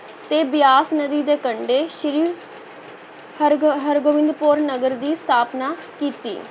ਤੇ ਬਿਆਸ ਨਦੀ ਦੇ ਕੰਢੇ ਸ੍ਰੀ ਹਰਗ~ ਹਰਗੋਬਿੰਦਪੁਰ ਨਗਰ ਦੀ ਸਥਾਪਨਾ ਕੀਤੀ।